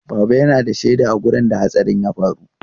Baba yana da shaida a wurin da hatsarin ya faru.